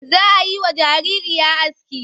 Za a yi wa jariri aski.